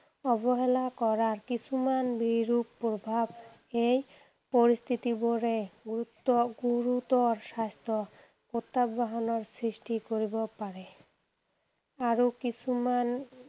অৱহেলা কৰা কিছুমান বিৰূপ প্ৰভাৱ এই পৰিস্থিতি বোৰে গুৰুতৰ স্বাস্থ্য প্ৰত্যাহ্বানৰ সৃষ্টি কৰিব পাৰে। আৰু কিছুমান